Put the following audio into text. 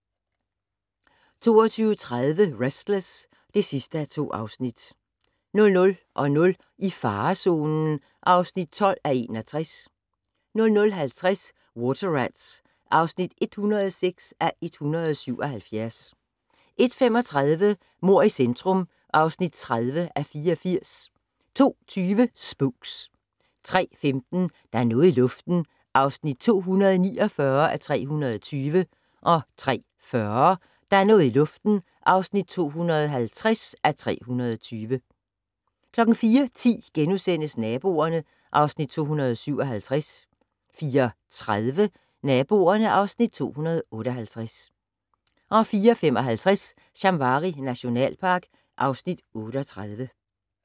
22:30: Restless (2:2) 00:00: I farezonen (12:61) 00:50: Water Rats (106:177) 01:35: Mord i centrum (30:84) 02:20: Spooks 03:15: Der er noget i luften (249:320) 03:40: Der er noget i luften (250:320) 04:10: Naboerne (Afs. 257)* 04:30: Naboerne (Afs. 258) 04:55: Shamwari nationalpark (Afs. 38)